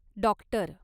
doctor